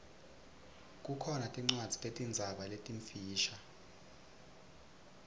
kukhona tincwadzi tetinzaba letimfisha